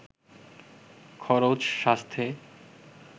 খরচ, স্বাস্থ্যে